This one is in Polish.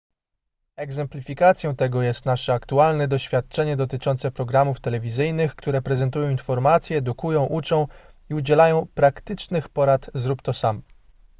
egzemplifikacją tego jest nasze aktualne doświadczenie dotyczące programów telewizyjnych które prezentują informacje edukują uczą i udzielają praktycznych porad zrób to sam”